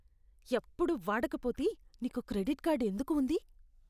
ఎప్పుడూ వాడకపోతే నీకు క్రెడిట్ కార్డ్ ఎందుకు ఉంది?